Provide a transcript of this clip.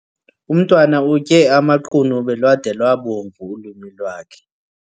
Umntwana utye amaqunube lwada lwabomvu ulwimi lwakhe.